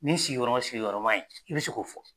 Ni sigiyɔrɔma sigiyɔrɔma ye i be se k'o fɔ.